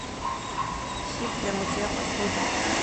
сиф для мытья посуды